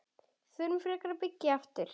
Förum frekar að byggja aftur.